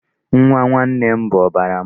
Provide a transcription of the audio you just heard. Nwa nwanne m bụ ọbara m.